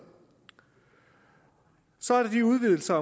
så er der de udvidelser